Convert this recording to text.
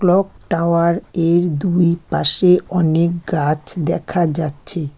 Clock tower এর দুই পাশে অনেক গাছ দেখা যাচ্ছে।